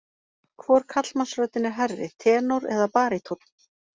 Hvor karlmannsröddin er hærri, tenór eða barítónn?